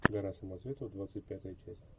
гора самоцветов двадцать пятая часть